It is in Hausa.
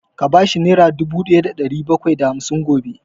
Ka bashi nera dubu ɗaya da ɗari bakwai da hamsin gobe!